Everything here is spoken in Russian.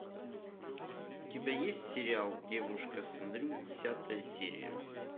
у тебя есть сериал девушка сэнрю десятая серия